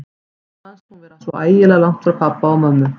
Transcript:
Henni fannst hún vera svo ægilega langt frá pabba og mömmu.